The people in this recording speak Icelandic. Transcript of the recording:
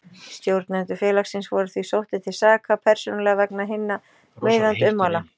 Stjórnendur félagsins voru því sóttir til saka persónulega vegna hinna meiðandi ummæla.